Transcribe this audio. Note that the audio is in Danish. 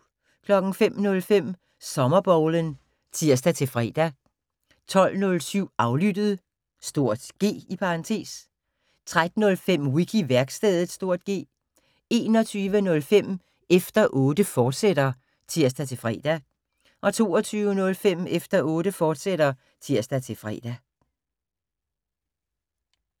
05:05: Sommerbowlen (tir-fre) 12:07: Aflyttet (G) 13:05: Wiki-værkstedet (G) 21:05: Efter Otte, fortsat (tir-fre) 22:05: Efter Otte, fortsat (tir-fre)